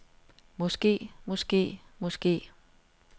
måske måske måske